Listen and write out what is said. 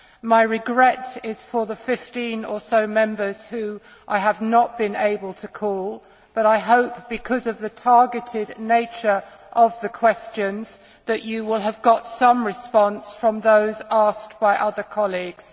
My regret is for the 15 or so Members whom I have not been able to call, but I hope, because of the targeted nature of the questions, that you will have got some response from those asked by other colleagues.